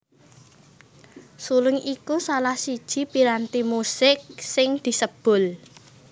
Suling iku salah siji piranti musik sing disebul